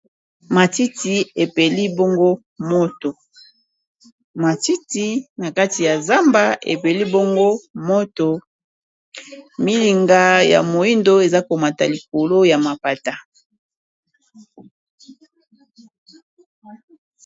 Matiti na kati ya zamba epeli bongo moto milinga ya moyindo eza komata likolo ya mapata.